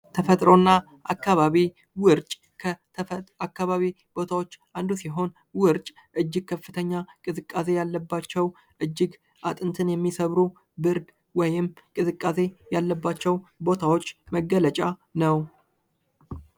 ተፈጥሮና ከባቢ ውርጭ ከተፈጥሮ አካባቢዎች ውስጥ አንዱ ሲሆን ውርጭ እጅ ከፍተኛ ቅዝቃዜ ያለባቸው ቦታዎች ሲሆኑ እጅግ አጥንትን የሚሰብሩ ብርድ ወይንም ቅዝቃዜ ያለባቸው ቦታዎች መገለጫ ነው፡፡